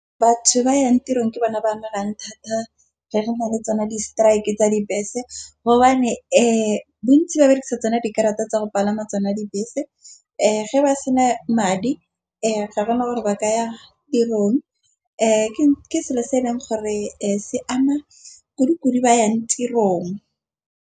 Batho ba yang tirong ke bana ba thata re na le tsona di-strike tsa dibese gobane bontsi ba berekisa tsona dikarata tsa go palama tsona dibese, ge ba sena madi ao ga gona gore ba ka ya tirong ke selo se e leng gore se ama kudukudu ba yang tirong.